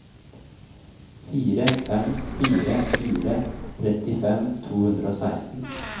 fire fem fire fire trettifem to hundre og seksten